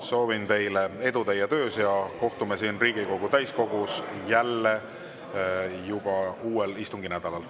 Soovin teile edu teie töös ja kohtume siin Riigikogu täiskogus jälle juba uuel istunginädalal.